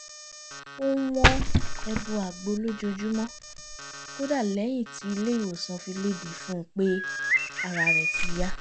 ó ń wọ́n ẹbu àgbo lójoojúmọ́ kódà lẹ́yìn tí ilé ìwòsàn fi léde fún un pé ara rẹ̀ ti yá